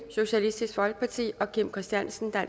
og kim christiansen